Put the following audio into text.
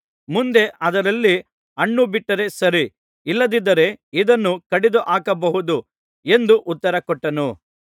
ಮುಂದೆ ಅದರಲ್ಲಿ ಹಣ್ಣು ಬಿಟ್ಟರೆ ಸರಿ ಇಲ್ಲದಿದ್ದರೆ ಇದನ್ನು ಕಡಿದುಹಾಕಬಹುದು ಎಂದು ಉತ್ತರ ಕೊಟ್ಟನು